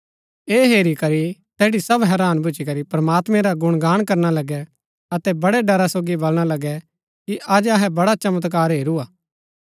ऐह हेरी करी तैठी सव हैरान भूच्ची करी प्रमात्मैं रा गुणगान करना लगै अतै बडै डरा सोगी वलणा लगै कि अज अहै बडा चमत्कार हेरू हा